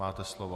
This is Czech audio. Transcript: Máte slovo.